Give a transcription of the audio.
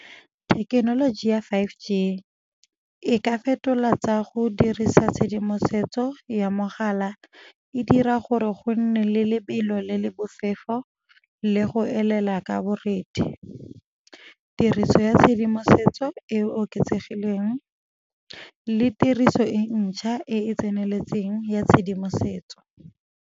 Thekenoloji ya five G e ka fetola tsa go dirisa tshedimosetso ya mogala e dira gore go nne le lebelo le le bofefo, le go elela ka borethe, tiriso ya tshedimosetso e e oketsegileng le tiriso e ntšha e e tseneletseng ya tshedimosetso.